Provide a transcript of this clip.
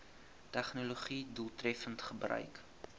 tegnologië doeltreffend gebruik